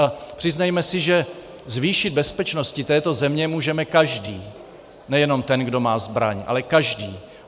A přiznejme si, že zvýšit bezpečnost této země můžeme každý, nejenom ten, kdo má zbraň, ale každý.